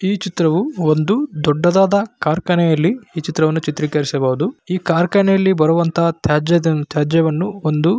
ಈ ಚಿತ್ರವು ಒಂದು ದೊಡ್ಡದಾದ ಖಾರ್ಕನೆಯಲ್ಲಿ ಈ ಚಿತ್ರವನ್ನು ಚಿತ್ರೀಕರಿಸಬಹುದು. ಈ ಖಾರ್ಕಾನೆಯಲ್ಲಿ ಬರುವಂತಹ ತ್ಯಾಜ್ಯ ತ್ಯಾಜ್ಯವನ್ನು ಒಂದು --